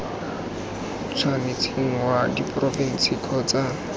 tshwanetseng wa diporofense kgotsa c